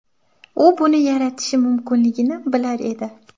U buni yaratishi mumkinligini bilar edi.